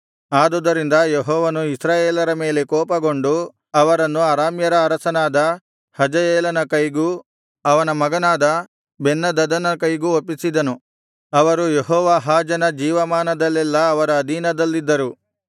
ಆದುದರಿಂದ ಯೆಹೋವನು ಇಸ್ರಾಯೇಲರ ಮೇಲೆ ಕೋಪಗೊಂಡು ಅವರನ್ನು ಅರಾಮ್ಯರ ಅರಸನಾದ ಹಜಾಯೇಲನ ಕೈಗೂ ಅವನ ಮಗನಾದ ಬೆನ್ಹದದನ ಕೈಗೂ ಒಪ್ಪಿಸಿದನು ಅವರು ಯೆಹೋವಾಹಾಜನ ಜೀವಮಾನದಲ್ಲೆಲ್ಲಾ ಅವರ ಅಧೀನದಲ್ಲಿದ್ದರು